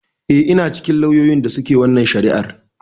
Eh, ina cikin lauyoyin da suke wannan shari'ar.